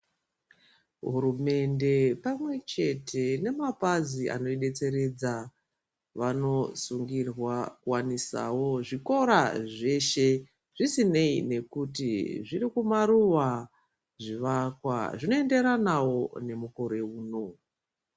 Hurumende pamwechete nemapazi anoidetseredza vanosungirwa kuwanisawo zvikora zveshe zvisinei nekuti zviri kumaruwa zvivakwa zvinoenderanawo nemukore uno.